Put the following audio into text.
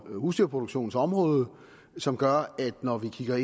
husdyrproduktionsområdet som gør at når vi kigger